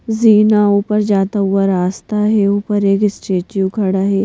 जीना ऊपर जाता हुआ रास्ता है ऊपर एक स्टेचू खड़ा है।